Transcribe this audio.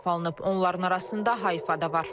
Onların arasında Hayfa da var.